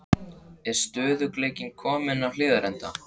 Er stöðugleikinn kominn á Hlíðarenda?